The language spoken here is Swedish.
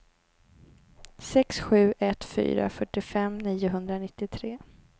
sex sju ett fyra fyrtiofem niohundranittiotre